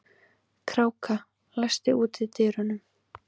Kráka, læstu útidyrunum.